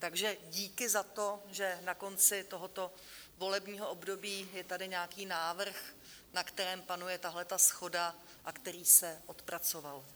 Takže díky za to, že na konci tohoto volebního období je tady nějaký návrh, na kterém panuje tahle shoda a který se odpracoval.